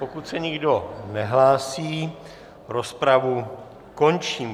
Pokud se nikdo nehlásí, rozpravu končím.